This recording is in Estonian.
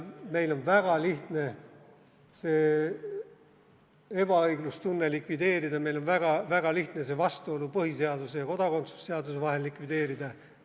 Meil on väga lihtne seda ebaõiglustunnet likvideerida, meil on väga lihtne see vastuolu põhiseaduse ja kodakondsuse seaduse vahel likvideerida.